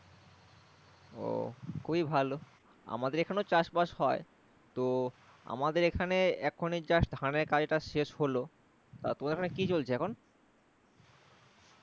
ও খুবই ভালো আমাদের এখানেও চাষবাস হয় তো আমাদের এখানে এখনই just ধানের কাজটাজ শেষ হলো তা তোমাদের ওখানে কি চলছে এখন?